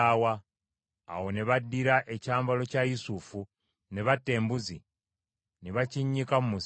Awo ne baddira ekyambalo kya Yusufu, ne batta embuzi, ne bakinnyika mu musaayi.